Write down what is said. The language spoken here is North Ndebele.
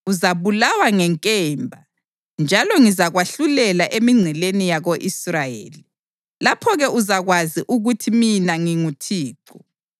Uzabulawa ngenkemba, njalo ngizakwahlulela emingceleni yako-Israyeli. Lapho-ke uzakwazi ukuthi mina nginguThixo.